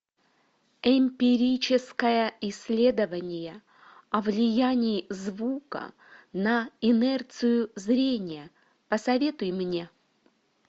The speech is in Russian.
эмпирическое исследование о влиянии звука на инерцию зрения посоветуй мне